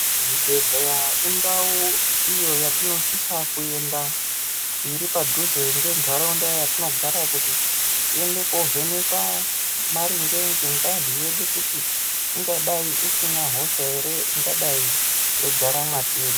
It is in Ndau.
Zvibhedhleya indau iyo yatinosisa kuenda iri padhuze ngentaraunda yatinogare kuti tiende kovhenekwa maringe ngengazi yedu kuti ingadai isina hosha ere ingadai yeigara mwatiri.